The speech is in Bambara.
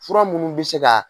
Fura minnu bɛ se ka